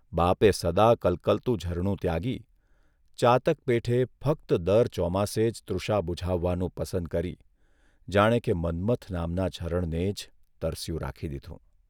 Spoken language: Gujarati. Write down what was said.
બાપે સદા કલકલતું ઝરણું ત્યાગી, ચાતક પેઠે ફક્ત દર ચોમાસે જ તૃષા બુઝાવવાનું પસંદ કરી જાણે કે મન્મથ નામના ઝરણને જ તરસ્યું રાખી દીધું !